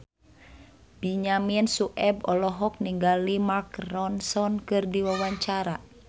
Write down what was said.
Benyamin Sueb olohok ningali Mark Ronson keur diwawancara